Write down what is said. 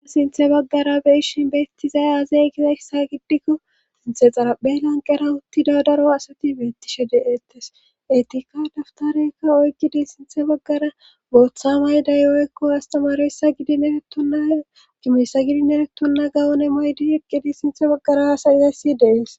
a sinthe baggara beishin beettizaya azey gizayssa giddikko sinthe xaraphe lanqera uttida daro asati beettishe deettes etikka daftareykka oykkidi sinthe baggara booththa mayday oykko astamaroyssa gidin egettonna gimoysa gidin egettonna gawon emmoydi eqqidi sinthe baggara haasayizayssi dees